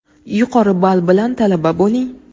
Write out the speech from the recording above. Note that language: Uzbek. yuqori ball bilan talaba bo‘ling.